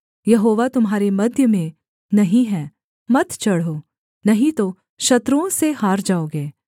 यहोवा तुम्हारे मध्य में नहीं है मत चढ़ो नहीं तो शत्रुओं से हार जाओगे